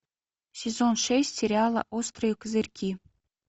сезон шесть сериала острые козырьки